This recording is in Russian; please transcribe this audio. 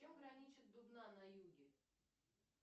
с чем граничит дубна на юге